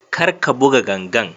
karka buga gangar